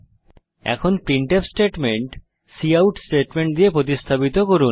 এখন printf statement cout statement দিয়ে প্রতিস্থাপিত করুন